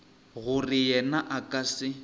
gore yena a ka se